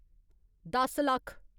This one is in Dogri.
दस लक्ख